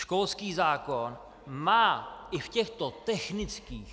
Školský zákon má i v těchto technických změnách -